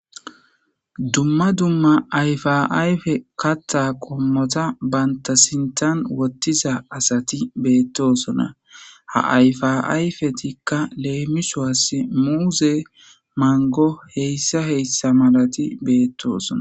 Dumma dumma ayfaayfe katta qommota banta sintan wottiza asati beettosona ha ayfaayfetikka leemisoas muuze mango heyssa heyssa malati beettosona